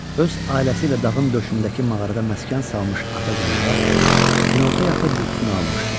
Öz ailəsi ilə dağın döşündəki mağarada məskən salmış ata canavar, günorta yatıb yuxusunu almışdı.